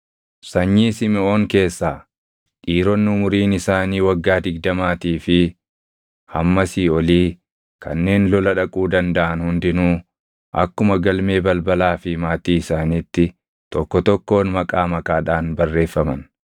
Sanyii Simiʼoon keessaa: Dhiironni umuriin isaanii waggaa digdamaatii fi hammasii olii kanneen lola dhaquu dandaʼan hundinuu akkuma galmee balbalaa fi maatii isaaniitti tokko tokkoon maqaa maqaadhaan barreeffaman.